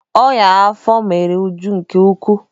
Ọnyá afọ mere Uju nke ukwuu.